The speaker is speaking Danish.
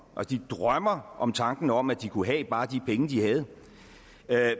og de drømmer om tanken om at de kunne have bare de penge de havde